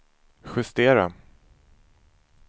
justera